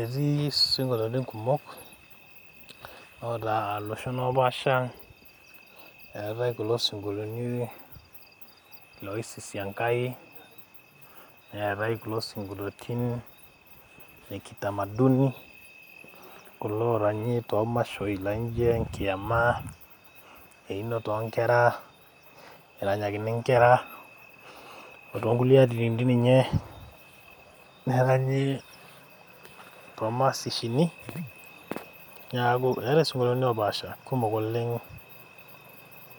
etii isinkolioni kumok oota iloshon opaasha eetae kulo sinkolioni loisisi Enkai neetae kulo sinkoliotin le kitamaduni kulo oranyi tomashoi naijo enkiama einoto onkera eranyakini inkera otonkulie atitin dii ninye neranyi tomasishini niaku eetae isinkolioni opaasha kumok oleng